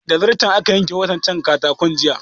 Da zarton aka yanka waɗancan katakon jiya